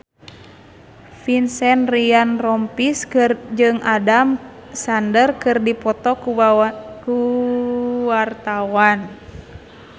Vincent Ryan Rompies jeung Adam Sandler keur dipoto ku wartawan